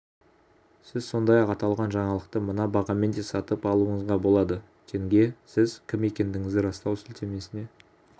сіз сондай-ақ аталған жаңалықты мына бағамен де сатып алуыңызға болады тенге сіз кім екендігіңізді растау сілтемесіне